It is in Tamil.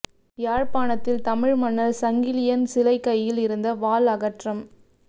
யாழ்ப்பாணத்தில் தமிழ் மன்னர் சங்கிலியன் சிலை கையில் இருந்த வாள் அகற்றம்